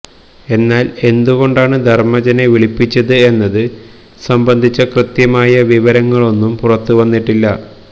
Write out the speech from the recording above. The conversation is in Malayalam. എന്നാല് എന്തുകൊണ്ടാണ് ധര്മജനെ വിളിപ്പിച്ചത് എന്നത് സംബന്ധിച്ച കൃത്യമായി വിവരങ്ങളൊന്നും പുറത്ത് വന്നിട്ടില്ല